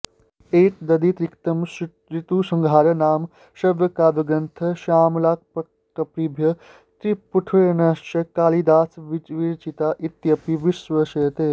एतदतिरिक्तं ऋतुसंहारं नाम श्रव्यकाव्यग्रन्थः श्यामलाष्टकप्रभृतिस्फूटरचनाश्च कालिदासविरचिता इत्यपि विश्वस्यते